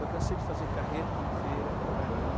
Eu cansei de fazer carreto em feira, com carrinho.